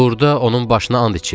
Burda onun başına and içirlər.